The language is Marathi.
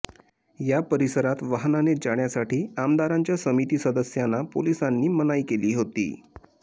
या परिसरात वाहनाने जाण्यासाठी आमदारांच्या समिती सदस्यांना पोलीसांनी मनाई केली होती